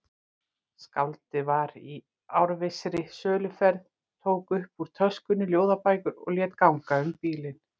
Skáldið var í árvissri söluferð, tók upp úr töskunni ljóðabækur og lét ganga um bílinn.